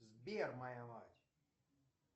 сбер моя мать